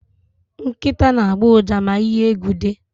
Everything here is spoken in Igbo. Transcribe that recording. Nkịta na-agbọ ụja ma ihe egwu dị.